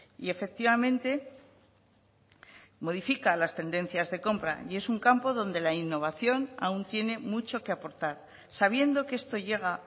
y efectivamente modifica las tendencias de compra y es un campo donde la innovación aún tiene mucho que aportar sabiendo que esto llega